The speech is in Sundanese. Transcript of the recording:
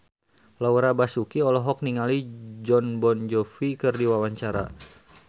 Laura Basuki olohok ningali Jon Bon Jovi keur diwawancara